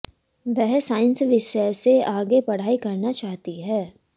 वह साइंस विषय से आगे पढ़ाई करना चाहती है